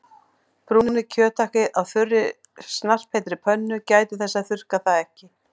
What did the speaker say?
Brúnið kjöthakkið á þurri snarpheitri pönnu- gætið þess að þurrka það ekki.